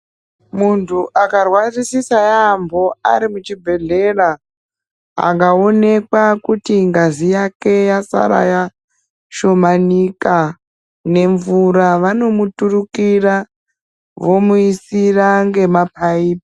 Muntu akarwarisisa yaambo ari muchibhehleya akawonekwa kuti ngazi yake yasara yashomanika nemvura, vanomuturukira vomuisa ngemapaipi.